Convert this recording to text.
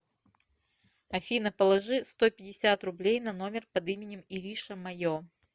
афина положи сто пятьдесят рублей на номер под именем ириша мое